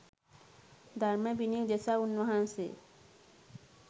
ධර්ම විනය උදෙසා උන්වහන්සේ